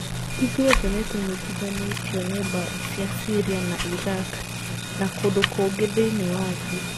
Ithuothe nĩ tũnyitithanĩtio nĩ mbaara cia Syria na Iraq na kũndũ kũngĩ thĩinĩ wa thĩ.